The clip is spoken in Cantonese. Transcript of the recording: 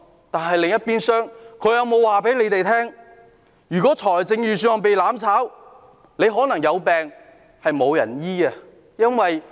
但另一邊廂，他們有否告訴大家，如果預算案被"攬炒"，有病可能會得不到醫治？